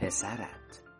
پسرت